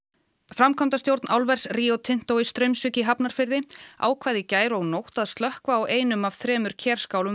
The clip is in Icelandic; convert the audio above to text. framkvæmdastjórn álvers Rio Tinto í Straumsvík í Hafnarfirði ákvað í gær og nótt að slökkva á einum af þremur Kerskálum